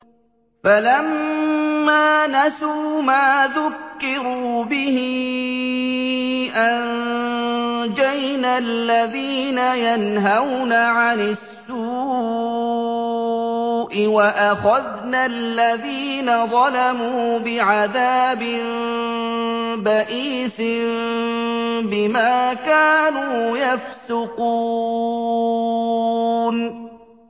فَلَمَّا نَسُوا مَا ذُكِّرُوا بِهِ أَنجَيْنَا الَّذِينَ يَنْهَوْنَ عَنِ السُّوءِ وَأَخَذْنَا الَّذِينَ ظَلَمُوا بِعَذَابٍ بَئِيسٍ بِمَا كَانُوا يَفْسُقُونَ